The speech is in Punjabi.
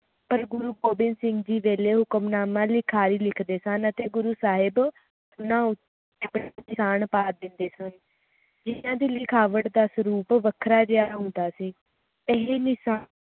ਪਰ ਗੁਰੂ ਗੋਬਿੰਦ ਸਿੰਘ ਜੀ ਵੇਲੇ ਹੁਕਮਨਾਮਾ ਲਿਖਾਰੀ ਲਿਖਦੇ ਸਨ ਅਤੇ ਗੁਰੂ ਸਾਹਿਬ ਓਹਨਾ ਉੱਤੇ ਨਿਸ਼ਾਨ ਪਾ ਦਿੰਦੇ ਸਨ ਜਿਹਨਾਂ ਦੀ ਲਿਖਾਵਟ ਦਾ ਸਰੂਪ ਵੱਖਰਾ ਜੇਹਾ ਹੁੰਦਾ ਸੀ ਇਹ ਮਿਸਾਲ